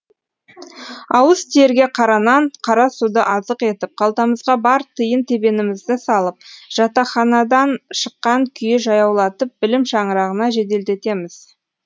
ауыз тиерге қара нан қара суды азық етіп қалтамызға бар тиын тебенімізді салып жатаханадан шыққан күйі жаяулатып білім шаңырағына жеделдетеміз